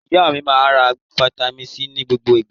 Ìyá mi máa ń ra fataímìn C ní gbogbo ìgbà.